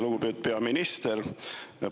Lugupeetud peaminister!